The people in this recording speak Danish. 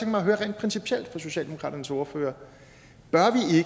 mig at høre rent principielt fra socialdemokraternes ordfører bør